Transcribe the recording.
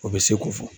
O bɛ se ko fɔ